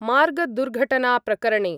मार्गदुर्घटनाप्रकरणे